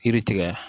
Yiri tigɛ